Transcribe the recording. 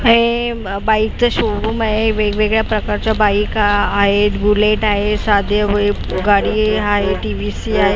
हे अ बाईकचं शो रूम आहे वेगवेगळ्या प्रकारच्या बाईका आहेत बुलेट आहे गाडी आहे टी_व्ही_सी आहे.